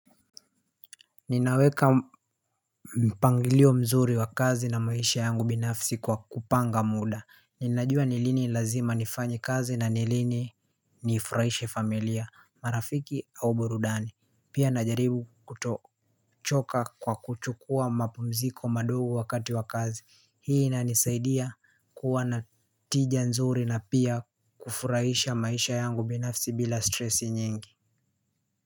Ninaweka mpangilio mzuri wa kazi na maisha yangu binafsi kwa kupanga muda. Ninajua ni lini lazima nifanye kazi na ni lini nifurahishe familia, marafiki au borudani. Pia najaribu kutochoka kwa kuchukua mapumziko madogo wakati wa kazi. Hii inanisaidia kuwa na tija nzuri na pia kufurahisha maisha yangu binafsi bila stressi nyingi.